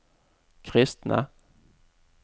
kristne